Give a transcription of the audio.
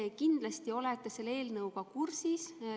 Te kindlasti olete selle eelnõuga kursis.